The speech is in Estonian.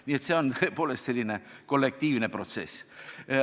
Nii et see on tõepoolest selline kollektiivne protsess.